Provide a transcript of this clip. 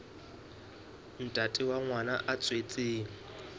ntate wa ngwana ya tswetsweng